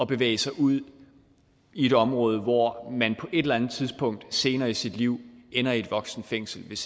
bevæge sig ud i et område hvor man på et eller andet tidspunkt senere i sit liv ender i et voksenfængsel hvis